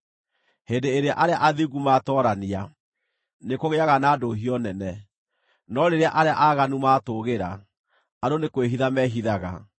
Hĩndĩ ĩrĩa arĩa athingu maatoorania, nĩkũgĩaga na ndũhiũ nene; no rĩrĩa arĩa aaganu maatũũgĩra, andũ nĩ kwĩhitha mehithaga.